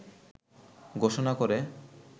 ঘোষণা করে